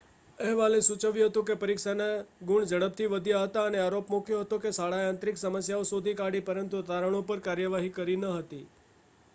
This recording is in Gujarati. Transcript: અહેવાલે સૂચવ્યું હતું કે પરીક્ષાના ગુણ ઝડપથી વધ્યા હતા અને આરોપ મૂક્યો હતો કે શાળાએ આંતરિક સમસ્યાઓ શોધી કાઢી હતી પરંતુ તારણો પર કાર્યવાહી કરી ન હતી